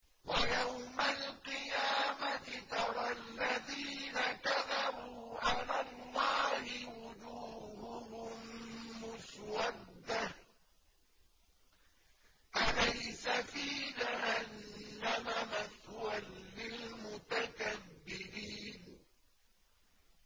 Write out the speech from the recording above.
وَيَوْمَ الْقِيَامَةِ تَرَى الَّذِينَ كَذَبُوا عَلَى اللَّهِ وُجُوهُهُم مُّسْوَدَّةٌ ۚ أَلَيْسَ فِي جَهَنَّمَ مَثْوًى لِّلْمُتَكَبِّرِينَ